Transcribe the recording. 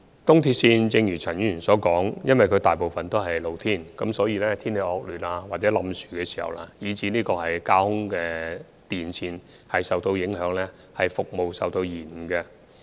正如陳議員所說，由於東鐵線大部分都在戶外，所以當天氣惡劣，有塌樹情況或架空電纜受影響時，服務便會受延誤。